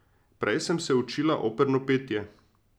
Prej sem se učila operno petje.